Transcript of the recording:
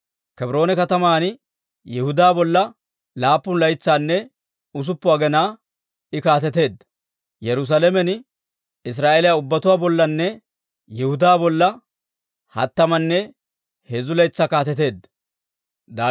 Kebroone kataman Yihudaa bolla laappun laytsanne usuppun aginaa I kaateteedda; Yerusaalamen Israa'eeliyaa ubbatuwaa bollanne Yihudaa bolla hattamanne heezzu laytsaa kaateteedda.